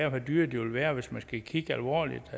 og hvor dyre de vil være hvis man skal kigge alvorligt